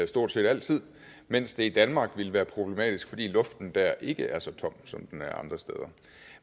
stort set altid mens det i danmark ville være problematisk fordi luften der ikke er så tom som den er andre steder